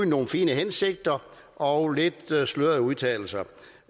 nogle fine hensigter og lidt slørede udtalelser